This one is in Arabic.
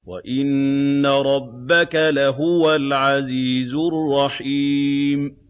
وَإِنَّ رَبَّكَ لَهُوَ الْعَزِيزُ الرَّحِيمُ